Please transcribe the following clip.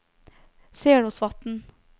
Selåsvatn